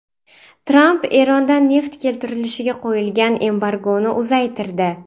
Tramp Erondan neft keltirilishiga qo‘yilgan embargoni uzaytirdi.